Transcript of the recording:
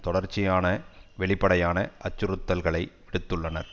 தொடர்ச்சியான வெளிப்படையான அச்சறுத்தல்களை விடுத்துள்ளனர்